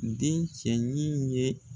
Den cɛ ɲi ye